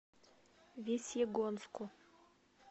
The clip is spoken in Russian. весьегонску